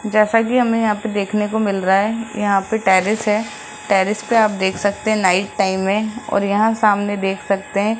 जैसा कि हमें यहां पे देखने को मिल रहा है यहां पे टेरेस है टेरेस पे आप देख सकते हैं नाइट टाइम है और यहां सामने देख सकते हैं।